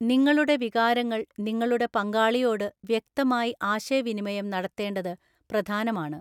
നിങ്ങളുടെ വികാരങ്ങൾ നിങ്ങളുടെ പങ്കാളിയോട് വ്യക്തമായി ആശയവിനിമയം നടത്തേണ്ടത് പ്രധാനമാണ്.